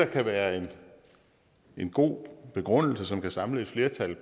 kan være en god begrundelse som kan samle et flertal